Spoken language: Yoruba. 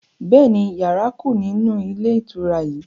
Bẹ́ẹ̀ni, yàrá kú nínú ilé ìtura yìí